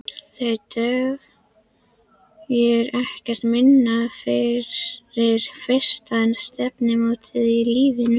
Það dugir ekkert minna fyrir fyrsta stefnumótið í lífinu.